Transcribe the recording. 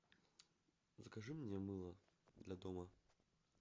закажи мне мыло для дома